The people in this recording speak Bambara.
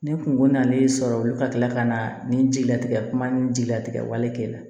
Ni kunko nalen sɔrɔ olu ka tila ka na nin jigilatigɛ kuma ni jigilatigɛ wale kɛ la